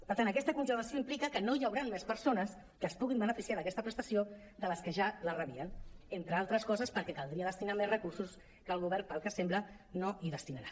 per tant aquesta congelació implica que no hi hauran més persones que es puguin beneficiar d’aquesta prestació de les que ja la rebien entre altres coses perquè caldria destinar més recursos que el govern pel que sembla no hi destinarà